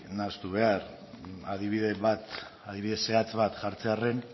nahastu behar adibide bat adibide zehatz bat jartzearren